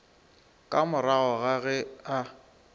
ka morago ga ge a